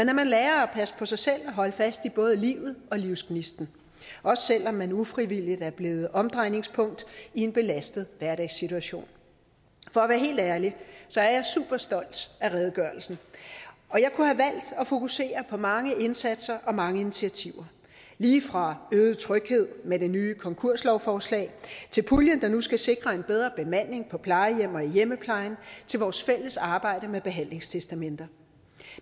lære at passe på sig selv og holde fast i både livet og livsgnisten også selv om man ufrivilligt er blevet omdrejningspunkt i en belastet hverdagssituation for at være helt ærlig er jeg super stolt af redegørelsen og jeg kunne have valgt at fokusere på mange indsatser og mange initiativer lige fra øget tryghed med det nye konkurslovforslag til puljen der nu skal sikre en bedre bemanding på plejehjem og i hjemmeplejen og til vores fælles arbejde med behandlingstestamenter